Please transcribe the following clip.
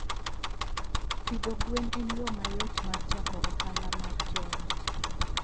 Pidho gwen en yo mayot mar chako ohala mar joot.